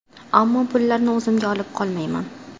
Ammo pullarni o‘zimga olib qolmayman.